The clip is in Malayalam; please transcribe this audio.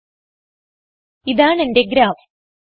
choose the option open with document viewer